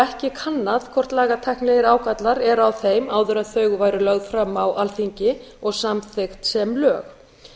ekki kannað hvort lagatæknilegir ágallar eru á þeim áður en þau væru lögð fram á alþingi og samþykkt sem lög í